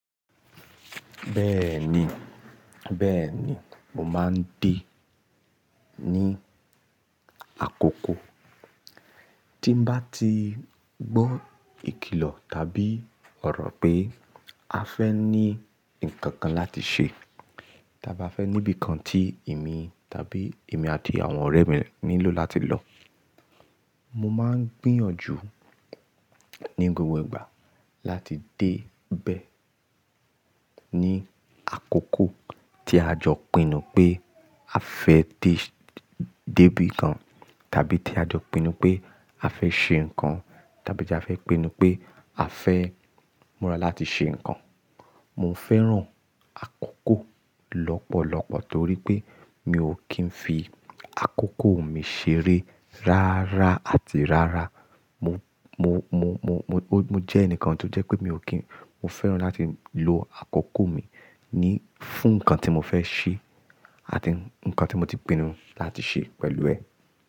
Bẹ́ẹ̀ni, bẹ́ẹ̀ni, mo máa ń dé ní àkókó. Tí n bá ti gbọ́ ìkìlọ̀ tàbí ọ̀rọ̀ pé a fẹ́ ní nǹkan kan láti ṣe, tàbí a fẹ́ níbi kan tí èmi tàbí èmi àti àwọn ọ̀rẹ́ mi nílò láti lọ. Mo máa ń gbìyànjú ní gbogbo ìgbà láti dé bẹ̀ ní àkókó tí a jọ pinnu pé a fẹ́ dé débi kan, tàbí tí a jọ pinnu pé a fẹ́ ṣe nǹkan, tàbí tí a fẹ́ pinnu pé a fẹ́ múra láti ṣe nǹkan. Mo fẹ́ràn àkókó lọ́pọ̀lọ́pọ̀ torí pé mi ò kí ń fi àkókó mi ṣeré rárá àti rárá. Mo, mo, mo, mo, mo jẹ́ ẹnìkan tó jẹ́ pé mi ò kí n-- mo fẹ́ràn láti lo àkókó mi ní fún nǹkan tí mo fẹ́ ṣe, àti nǹkan tí mo ti pinnu láti ṣe pẹ̀lú ẹ.